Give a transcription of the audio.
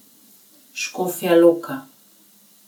Škofja Loka.